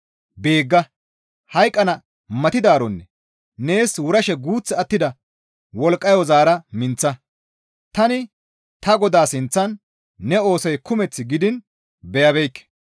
Beegga! Hayqqana matidaaronne nees wurashe guuth attida wolqqayo zaara minththa; tani ta Godaa sinththan ne oosoy kumeth gidiin beyabeekke.